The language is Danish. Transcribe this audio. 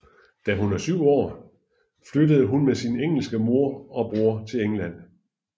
Da hun var syv år flyttede hun med sin engelske mor og bror til England